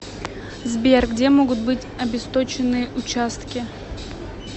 сбер где могут быть обесточенные участки